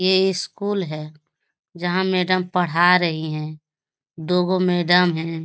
यै स्कूल है जहा मैडम पढ़ा रही है दो गो मैडम है |